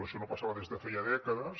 això no passava des de feia dècades